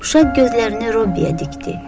Uşaq gözlərini Robbiyə dikdi.